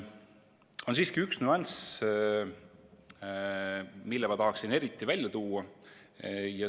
On siiski üks nüanss, mille ma tahaksin eriti välja tuua.